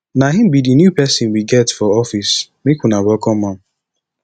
na him be the new person we get for office make una welcome am